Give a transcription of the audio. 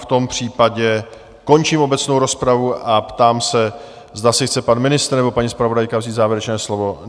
V tom případě končím obecnou rozpravu a ptám se, zda si chce pan ministr nebo paní zpravodajka vzít závěrečné slovo?